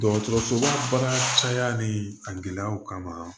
Dɔgɔtɔrɔsoba baara caya ni a gɛlɛyaw kama